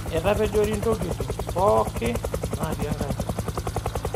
Etapejori ntokitin pookin naatii enkaji